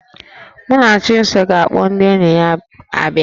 Mụnachimso ga-akpọ ndị enyi ya abịa